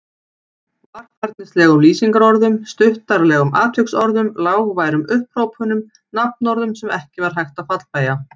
Varfærnislegum lýsingarorðum, stuttaralegum atviksorðum, lágværum upphrópunum, nafnorðum sem ekki var hægt að fallbeygja.